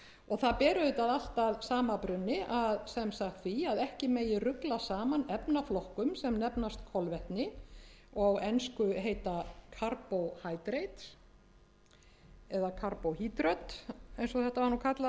og það ber auðvitað allt að sama brunni sem sagt því að ekki megi rugla saman efnaflokkum sem nefnast kolvetni og á ensku heita carbo hyprid eða carbo hydröt eins og þetta var nú kallað á